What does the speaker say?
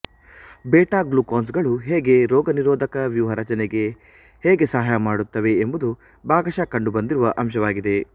beta glucans ಗಳು ಹೇಗೆ ರೋಗನಿರೋಧಕ ವ್ಯೂಹಾರಚನೆಗೆ ಹೇಗೆ ಸಹಾಯ ಮಾಡುತ್ತವೆ ಎಂಬುದು ಭಾಗಶ ಕಂಡು ಬಂದಿರುವ ಅಂಶವಾಗಿದೆ